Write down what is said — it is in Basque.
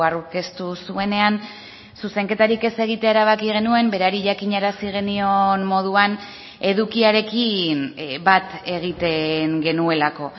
aurkeztu zuenean zuzenketarik ez egitea erabaki genuen berari jakinarazi genion moduan edukiarekin bat egiten genuelako